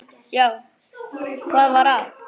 Já, hvað var að?